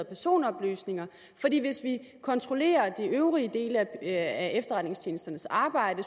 personoplysninger fordi hvis vi kontrollerer de øvrige dele af efterretningstjenestens arbejde